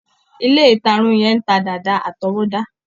Ilé-ìtarun yẹn ń ta dàda àtọwọ́dá.